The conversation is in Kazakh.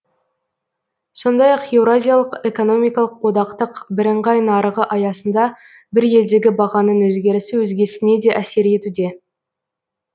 сондай ақ еуразиялық экономикалық одақтық бірыңғай нарығы аясында бір елдегі бағаның өзгерісі өзгесіне де әсер етуде